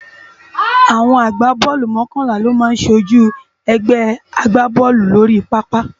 Awòn ágbábòlú mòkònlá lò má sójú ègbè àgbábòlú lóri pàápá